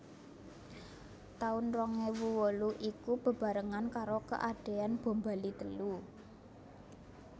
Taun rong ewu wolu iku bebarengan karo keadean bom Bali telu